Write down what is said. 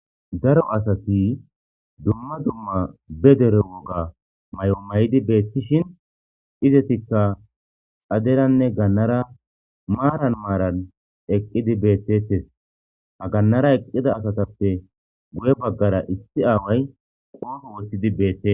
daro asati dumma dumma be dere woga may7o may7di beettishin izetikka xaderanne gannara maaran maaran eqqidi beettetes agannara eqqida asatappe guye baggara issi aaway qoofo wottidi beette